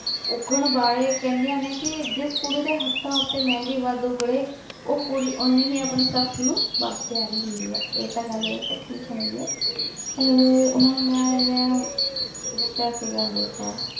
ਉਗਣ ਬਾਰੇ ਕਹਿੰਦੀਆਂ ਨੇ ਕੀ ਜਿਸ ਕੁੜੀ ਦੇ ਹੱਥਾਂ ਉੱਤੇ ਮਹਿੰਦੀ ਵੱਧ ਉਗੜੇ ਉਹ ਕੁੜੀ ਉਹਨੀ ਹੀ ਆਪਣੀ ਸੱਸ ਨੂੰ ਵੱਧ ਪਿਆਰੀ ਹੁੰਦੀ ਏ ਇਹ ਤਾ ਗੱਲ ਵੈਸੇ ਠੀਕ ਹੇਗੀ ਏ ਪਰ ਅਹ ਹੁਣ ਮੈ ਜਿਵੇ ਦਸਿਆ ਸੀ ਗਾ ਹਲੇ ਸ਼ਾਇਦ